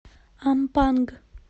ампанг